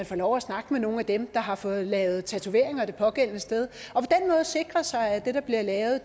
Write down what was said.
få lov at snakke med nogle af dem der har fået lavet tatoveringer det pågældende sted og sikre sig at det der bliver lavet